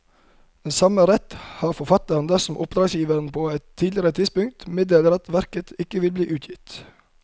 Den samme rett har forfatteren dersom oppdragsgiver på et tidligere tidspunkt meddeler at verket ikke vil bli utgitt.